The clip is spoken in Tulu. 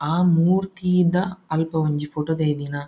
ಆ ಮೂರ್ತಿದ ಅಲ್ಪ ಒಂಜಿ ಪೋಟೊ ದೈದಿನ--